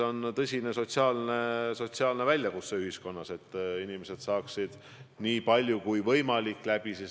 Nagu te mainisite, jah, sellise üldise kirja omavalitsustele ma saatsin eelmine esmaspäev.